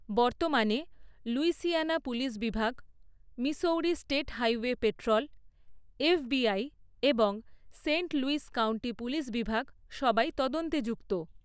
বর্তমানে, Louisiana police বিভাগ, Missouri state highway patrol, FBI, এবং সেন্ট লুইস কাউন্টি পুলিশ বিভাগ, সবাই তদন্তে যুক্ত।